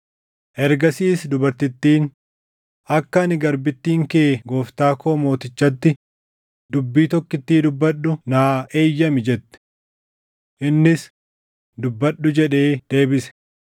Ergasiis dubartittiin, “Akka ani garbittiin kee gooftaa koo mootichatti dubbii tokkittii dubbadhu naa eeyyami” jette. Innis, “Dubbadhu” jedhee deebise.